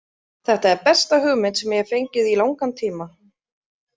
Þetta er besta hugmynd sem ég hef fengið í langan tíma.